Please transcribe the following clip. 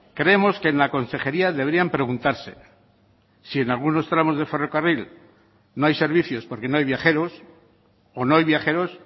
creemos que en la consejería deberían preguntarse si en algunos tramos de ferrocarril no hay servicios porque no hay viajeros o no hay viajeros